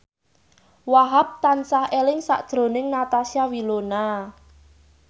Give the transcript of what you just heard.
Wahhab tansah eling sakjroning Natasha Wilona